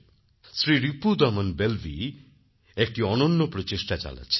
শ্রী রিপুদমন বেলভি একটি অনন্য প্রচেষ্টা চালাচ্ছেন